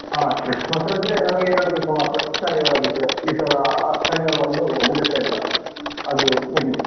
ಹ. Christmas ರಜೆ ನಮಗೆ ಎರಡು ದಿವ್ಸ ಮಾತ್ರ. ಶನಿವಾರ ಆದಿತ್ಯವಾರ ಈ ಸಲ ಆ ಶನಿವಾರ ಬಂದು ರಜೆ ಸ ಇಲ್ಲ ಅದು ಮುಗೀತು.